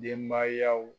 Denbayaw